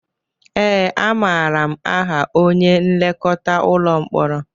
Ee, amaara m aha onye nlekọta ụlọ mkpọrọ